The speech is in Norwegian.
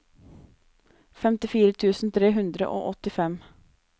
femtifire tusen tre hundre og åttifem